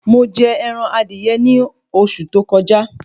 Mo jẹ ẹran adìyẹ ní oṣù tí ó kọjá